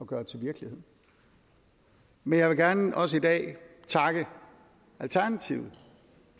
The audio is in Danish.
gøre til virkelighed men jeg vil gerne også i dag takke alternativet